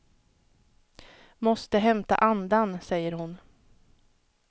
Måste hämta andan, säger hon.